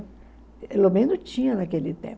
Pelo menos tinha naquele tempo.